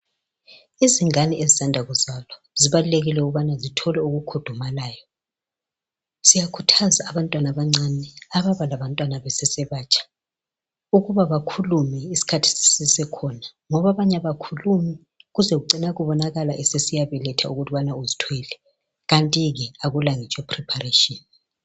Izingane ezisanda kuzalwa zibalulekile ukuthi zithole impahla ezikhudumalayo. Siyakhuthaza abantwana abancane ababalabantwana besesebatsha ukubana bakhulume isikhathi sisesekhona, ngokubana abanye abakhulumi kuze kugcine kubonakale esesiyabeletha kanti ke akalapreparation.